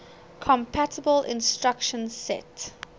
compatible instruction set